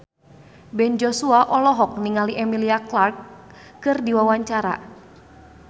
Ben Joshua olohok ningali Emilia Clarke keur diwawancara